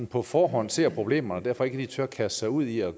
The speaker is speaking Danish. på forhånd ser problemerne og derfor ikke lige tør kaste sig ud i at